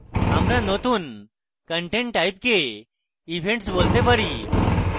আমরা নতুন content type কে events বলতে যাচ্ছি